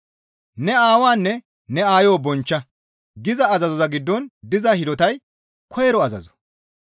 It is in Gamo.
«Ne aawaanne ne aayo bonchcha» giza azazo giddon diza hidotay koyro azazo.